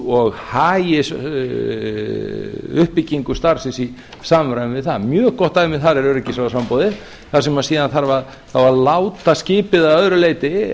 og hagi uppbyggingu starfsins í samræmi við það mjög gott dæmi þar er öryggisráðsframboðið þar sem síðan þarf að láta skipið að öðru leyti